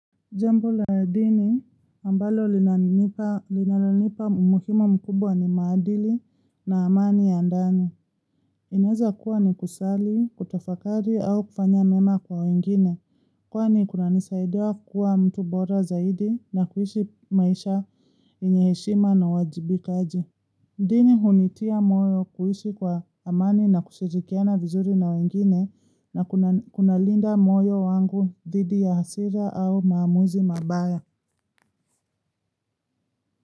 Jambo la dini ambalo linalonipa umuhima mkubwa ni maadili na amani ya ndani. Inaeza kuwa ni kusali, kutafakari au kufanya mema kwa wengine. Kwani kunanisaidia kuwa mtu bora zaidi na kuishi maisha yenye heshima na uwajibikaji. Dini hunitia moyo kuishi kwa amani na kushirikiana vizuri na wengine na kunalinda moyo wangu dhidi ya hasira au maamuzi mabaya.